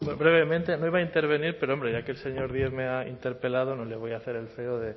brevemente no iba a intervenir pero hombre ya que el señor díez me ha interpelado no le voy a hacer el feo